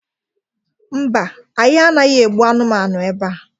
mba, anyi anaghi egbu anumanu ebea